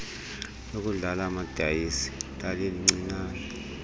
lokudlala amadayisi lalilincinane